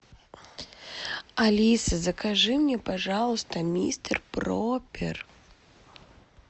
алиса закажи мне пожалуйста мистер пропер